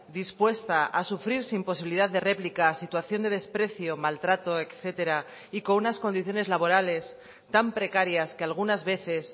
dispuesta a sufrir sin posibilidad de replicas situación de desprecio maltrato etcétera y con unas condiciones laborales tan precarias que algunas veces